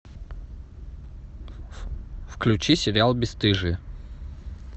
включи сериал бесстыжие